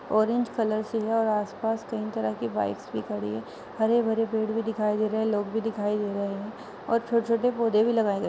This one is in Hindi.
ऑरेंज कलर से है और आस-पास कई तरह की बाइक्स भी खड़ी है। हरे भरे पेड़ भी दिखाई दे रहे हैं। लोग भी दिखाई दे रहे हैं और छोटे छोटे पौधे भी लगाए गए हैं।